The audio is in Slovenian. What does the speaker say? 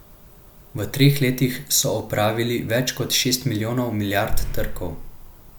V treh letih so opravili več kot šest milijonov milijard trkov.